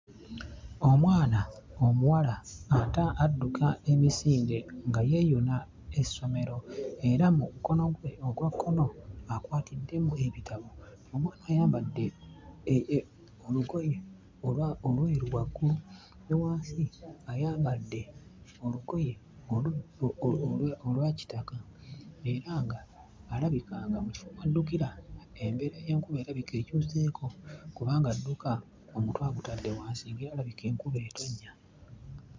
Omwana omuwala ata adduka emisinde nga yeeyuna essomero era mu mukono gwe ogwa kkono akwatiddemu ebitabo. Omwana ayambadde olugoye olwa olweru waggulu, ne wansi ayambadde olugoye olu olwa olwa kitaka era ng'alabika nga mu kifo mw'addukira embeera y'enkuba erabika ekyuseeko kubanga adduka omutwe agutadde wansi ng'erabika enkuba etonnya.